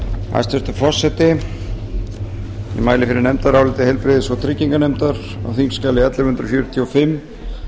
hæstvirtur forseti ég mæli fyrir nefndaráliti heilbrigðis og trygginganefndar á þingskjali ellefu hundruð fjörutíu og fimm